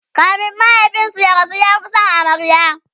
kamin mahaifinsu ya rasu ya Fi San amaryar